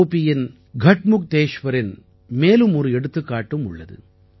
உபி கட்முக்தேஷ்வரின் மேலும் ஒரு எடுத்துக்காட்டும் உள்ளது